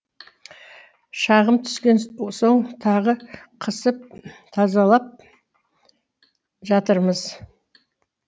шағым түскен соң тағы қысып тазалап жатырмыз